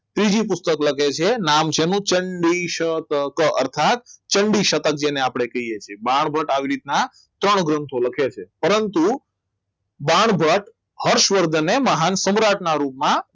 ત્રીજી પોષક લખે છે નામ છે એનું ચંડીશતક ચંડી શતક આપણે જેને કહીએ છીએ બાણભટ્ટ આવી રીતના ત્રણ ગ્રંથો લખે છે પરંતુ બાણભટ્ટ હર્ષવર્ધનને મહાન સમ્રાટના રૂપમાં